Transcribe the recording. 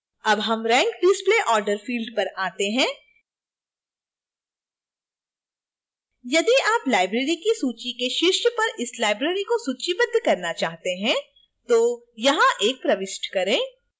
अब हम rank display order field पर आते हैं